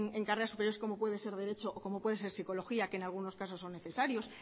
en carreras superiores como puede ser derecho o psicología que en algunos casos son necesarios